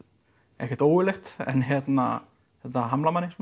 ekkert ógurlegt en þetta hamlar manni